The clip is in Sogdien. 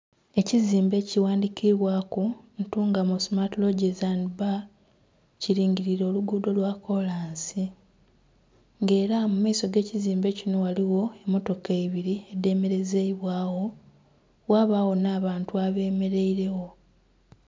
Ekizimbe kighandhikibwaku "Ntungamo smart lodges and bar" kilingiliire oluguudo lwa kolansi. Nga era mu maiso ag'ekizimbe kino ghaligho emmotoka ibiri edhemerezeibwagho, ghabagho n'abantu abemeleiregho.